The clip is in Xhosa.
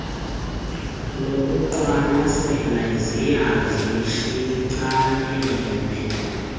lokuqwalasela ziye zishicilelwe